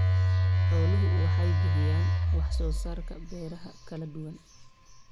Xooluhu waxay bixiyaan wax soo saarka beeraha kala duwan.